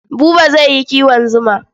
Buba zai yi kiwon zuma.